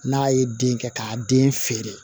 N'a ye den kɛ k'a den feere